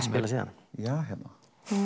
spilað síðan ja hérna